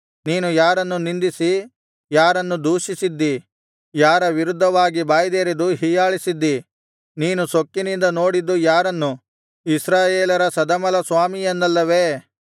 ನೀನು ಯಾರನ್ನು ನಿಂದಿಸಿ ಯಾರನ್ನು ದೂಷಿಸಿದ್ದೀ ಯಾರ ವಿರುದ್ಧವಾಗಿ ಬಾಯ್ದೆರೆದು ಹೀಯಾಳಿಸಿದ್ದಿ ನೀನು ಸೊಕ್ಕಿನಿಂದ ನೋಡಿದ್ದು ಯಾರನ್ನು ಇಸ್ರಾಯೇಲರ ಸದಮಲಸ್ವಾಮಿಯನ್ನಲ್ಲವೇ